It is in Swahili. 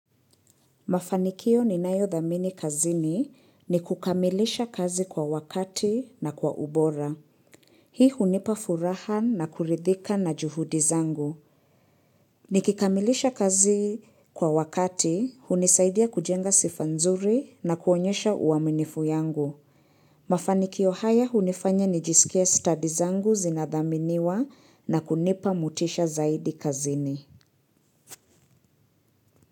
Mafanikio ninayothamini kazini ni kukamilisha kazi kwa wakati na kwa ubora. Hii hunipa furaha na kurithika na juhudi zangu. Nikikamilisha kazi kwa wakati, hunisaidia kujenga sifa nzuri na kuonyesha uaminifu yangu. Mafanikio haya hunifanya nijisikie study zangu zinathaminiwa na kunipa motisha zaidi kazini.